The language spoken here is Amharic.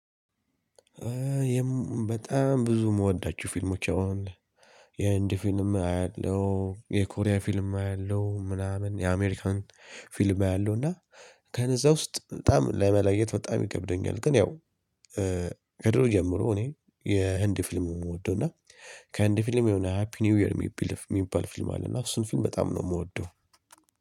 በጣም ብዙ የምወዳችሁ ፊልሞች አዎ አለ። የህንድ ፊልም አያለሁ የኮሪያ ፊልም አያለው ምናምን የአሜሪካን ፊልም አያለው እና ከነዛ ውስጥ በጣም ለመለየት በጣም ይከብደኛል። ግን ያው ከድሮ ጀምሮ እኔ የህንድ ፊልም ነው የምወደው። እና ከአንድ ፊልም የሆነ ሃፒ ኒው የርሚ ቢልፍ የሚባል ፊልም አለ እና እሱን ፊልም በጣም ነው የምወደው።